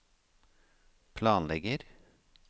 planlegger